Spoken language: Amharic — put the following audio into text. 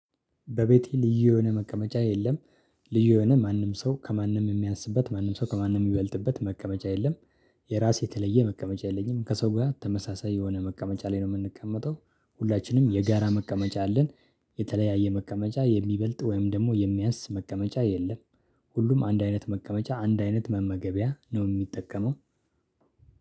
በቤቴ ልዩ የሆነ መቀመጫ የለም። ልዩ የሆነ ማንም ሰው ከማንም የሚያንስበት ማንም ሰው ከማንም የምበልጥበት መቀመጫ የለም። የራሴ የተለየ መቀመጫ የለኝም ከሰው ጋር ተመሳሳይ የሆነ መቀመጫ ላይ ነው የምንቀመጠው። ሁላችንም የጋራ መቀመጫ አለን። የተለያየ መቀመጫ የሚበልጥ ወይም ደግሞ የሚያንስ መቀመጫ የለም። ሁሉም አንድ አይነት መቀመጫ አንድ አይነት መመገቢያ ነው የሚጠቀመው።